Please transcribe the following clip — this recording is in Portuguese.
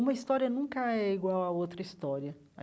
Uma história nunca é igual a outra história.